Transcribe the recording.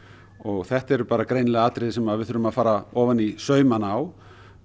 og þetta eru greinilega atriði sem við þurfum að fara ofan í saumana á